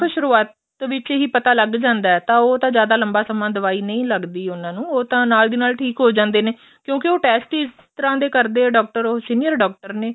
ਸੁਰੂਆਤ ਵਿੱਚ ਹੀ ਪਤਾ ਲੱਗ ਜਾਂਦਾ ਤਾਂ ਉਹ ਤਾਂ ਜਿਆਦਾ ਲੰਬਾ ਸਮਾਂ ਦਵਾਈ ਨਹੀਂ ਲੱਗਦੀ ਉਹਨਾ ਨੂੰ ਉਹ ਤਾਂ ਨਾਲ ਦੀ ਨਾਲ ਠੀਕ ਹੋ ਜਾਂਦੇ ਨੇ ਕਿਉਂਕਿ ਉਹ test ਇਸ ਤਰ੍ਹਾਂ ਦੇ ਕਰਦੇ ਡਾਕਟਰ ਉਹ ਸੀਨੀਅਰ ਡਾਕਟਰ ਨੇ